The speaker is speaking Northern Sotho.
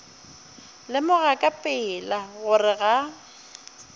lemoga ka pela gore ga